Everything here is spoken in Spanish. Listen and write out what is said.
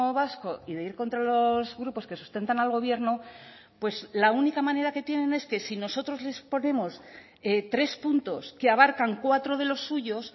vasco y de ir contra los grupos que sustentan al gobierno pues la única manera que tienen es que si nosotros les ponemos tres puntos que abarcan cuatro de los suyos